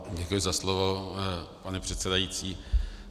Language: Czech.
Děkuji za slovo, pane předsedající.